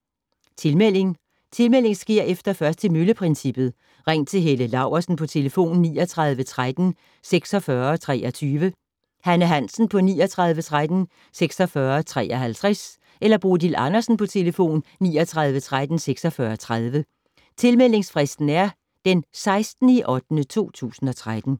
Tilmelding: Tilmelding sker efter først til mølle-princippet. Ring til Helle Laursen på 39 13 46 23, Hanne Hansen på 39 13 46 53 eller Bodil Andersen på 39 13 46 30. Tilmeldingsfristen er den 16.08.2013.